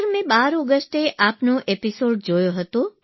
sir મેં બાર ઓગષ્ટે આપનો એપીસોડ જોયો હતો